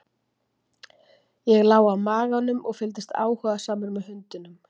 ég lá á maganum og fylgdist áhugasamur með hundinum